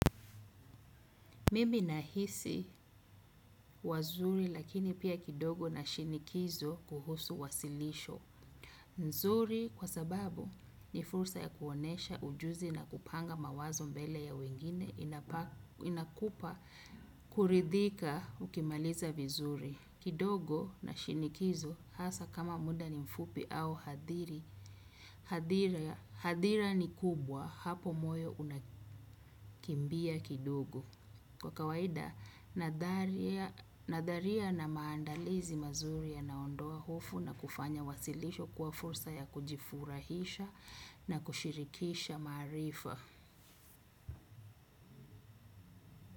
Mimi nahisi wazuri lakini pia kidogo na shinikizo kuhusu wasilisho. Nzuri kwa sababu ni fursa ya kuonyesha ujuzi na kupanga mawazo mbele ya wengine inakupa kuridhika ukimaliza vizuri. Kidogo na shinikizo hasa kama muda ni mfupi au hadhiri. Hadhira ni kubwa hapo moyo unakimbia kidogo. Kwa kawaida, nadharia na maandalizi mazuri yanaondoa hofu na kufanya wasilisho kwa fursa ya kujifurahisha na kushirikisha maarifa.